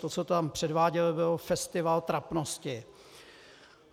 To, co tam předváděl, byl festival trapnosti.